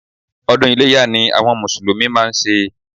Odún Iléyá ni àwon mùsùlùmí máa n se